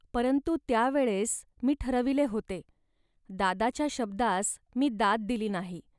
परंतु त्या वेळेस मी ठरविले होते. दादाच्या शब्दास मी दाद दिली नाही